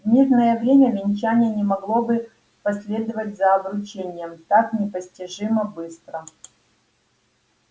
в мирное время венчание не могло бы последовать за обручением так непостижимо быстро